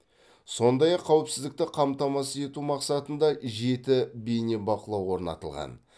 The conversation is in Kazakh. сондай ақ қауіпсіздікті қамтамасыз ету мақсатында жеті бенебақылау орнатылған